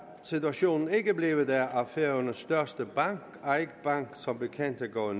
situationen ikke blevet af at færøernes største bank eik bank som bekendt er gået